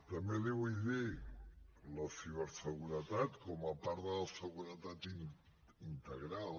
també li ho vull dir la ciberseguretat com a part de la seguretat integral